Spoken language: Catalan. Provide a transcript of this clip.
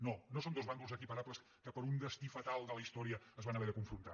no no són dos bàndols equiparables que per un destí fatal de la història es van haver de confrontar